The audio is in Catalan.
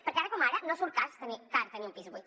perquè ara com ara no surt car tenir un pis buit